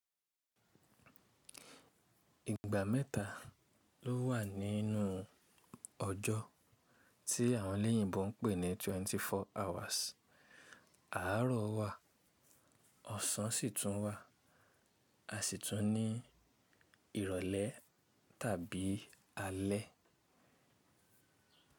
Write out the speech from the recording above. Ìgbà mẹ́ta ló wà nínú ọjọ́ tí àwọn elèyìnbo ń pè ní twenty four hours. Àárọ̀ wà, ọ̀sán sì tún wà. A sì tún ní ìrọ̀lẹ́ tàbí alẹ́.